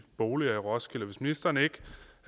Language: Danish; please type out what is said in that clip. boliger i roskilde og hvis ministeren ikke